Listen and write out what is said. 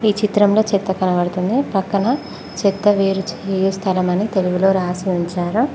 ఈ చిత్రంలో చెత్త కనబడుతుంది పక్కన చెత్త వేలు స్థలమని తెలుగులో రాసి ఉంచారు.